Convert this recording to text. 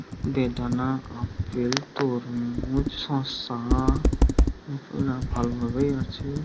বেদনা আপেল তরমুজ শসা- ভালো ভাবেই আছে।